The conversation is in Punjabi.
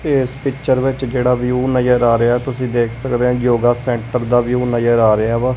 ਤੇ ਇਸ ਪਿਕਚਰ ਵਿੱਚ ਜਿਹੜਾ ਵਿਊ ਨਜ਼ਰ ਆ ਰਿਹਾ ਹੇ ਤੁਸੀਂ ਦੇਖ ਸਕਦੇ ਆ ਯੋਗਾ ਸੈਂਟਰ ਦਾ ਵਿਊ ਨਜ਼ਰ ਆ ਰਿਹਾ ਵਾ।